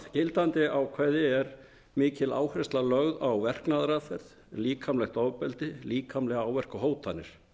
gildandi ákvæði mikil áhersla lögð á verknaðaraðferð líkamlegt ofbeldi líkamlega áverka og hótanir